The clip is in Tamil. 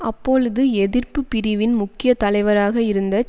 அப்பொழுது எதிர்ப்புப்பிரிவின் முக்கிய தலைவராக இருந்த